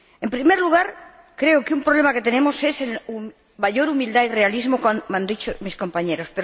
En primer lugar, creo que un problema que tenemos es el de mayor humildad y realismo, como han dicho mis compañeros.